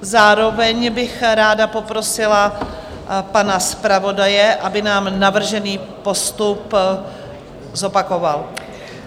Zároveň bych ráda poprosila pana zpravodaje, aby nám navržený postup zopakoval.